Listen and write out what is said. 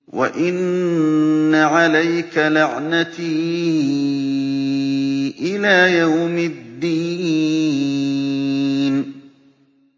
وَإِنَّ عَلَيْكَ لَعْنَتِي إِلَىٰ يَوْمِ الدِّينِ